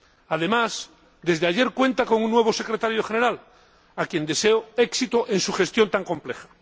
Además, desde ayer cuenta con un nuevo Secretario General, a quien deseo éxito en su gestión tan compleja.